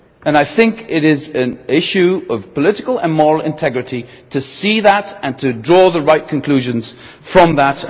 I think it is an issue of political and moral integrity to see that and to draw the right conclusions from that.